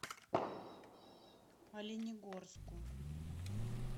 оленегорску